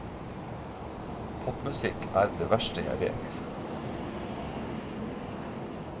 Popmusikk er det verste jeg vet.